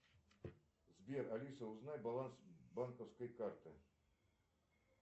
сбер алиса узнай баланс банковской карты